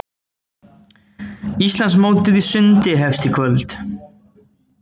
Íslandsmótið í sundi hefst í kvöld